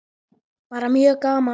Bara mjög gaman.